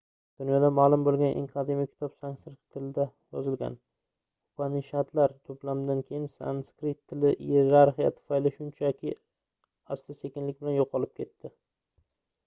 dunyoda maʼlum boʻlgan eng qadimiy kitob sanskrit tilida yozilgan upanishadlar toʻplamidan keyin sanskrit tili iyerarxiya tufayli shunchaki asta-sekinlik bilan yoʻqolib ketdi